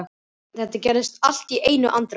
Þetta gerðist allt í einni andrá.